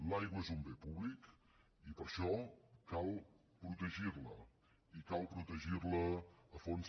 l’aigua és un bé públic i per això cal protegir la i cal protegir la a fons